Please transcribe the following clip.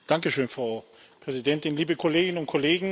Frau Präsidentin, liebe Kolleginnen und Kollegen!